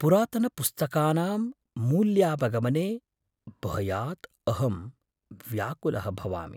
पुरातनपुस्तकानां मूल्यावगमने भयात् अहं व्याकुलः भवामि।